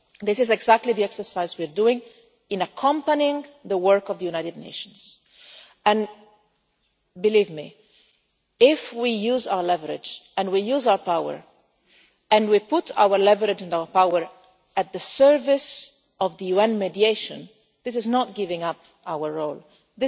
again. This is exactly the exercise we are engaged in, accompanying the work of the United Nations and, believe me, if we use our leverage and we use our power and we put our leverage and our power at the service of the UN mediation, this is not giving up our